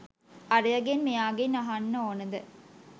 අරයගෙන් මෙයාගෙන් අහන්න ඕනෙද?